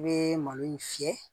I bɛ malo in fiyɛ